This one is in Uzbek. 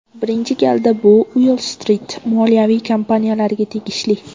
Birinchi galda bu Uoll-Strit moliyaviy kompaniyalariga tegishli.